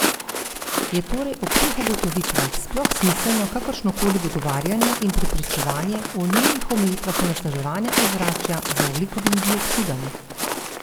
Je torej ob teh ugotovitvah sploh smiselno kakršnokoli dogovarjanje in prepričevanje o nujnih omejitvah onesnaževanja ozračja z ogljikovim dioksidom?